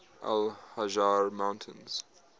al hajar mountains